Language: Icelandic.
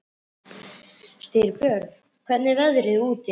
Styrbjörn, hvernig er veðrið úti?